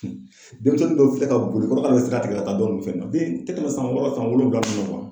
denmisɛnnin dɔw filɛ ka boli kɔrɔ ka bɛ sira tigɛ ka taa dɔ nunnun fɛ yen nɔ. Den tɛ tɛmɛ san wɔɔrɔ san wolonwula bolo